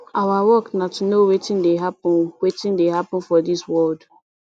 our work na to know wetin dey happen wetin dey happen for dis world